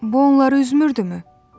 Bu onları üzürmü?